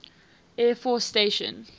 air force station